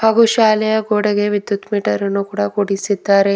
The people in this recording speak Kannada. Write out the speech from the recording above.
ಹಾಗು ಶಾಲೆಯ ಗೋಡೆಗೆ ವಿದ್ಯುತ್ ಮೀಟರನ್ನು ಕೂಡ ಕೂಡಿಸಿದ್ದಾರೆ.